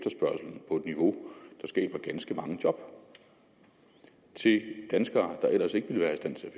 niveau det skaber ganske mange job til danskere der ellers ikke ville være i stand til at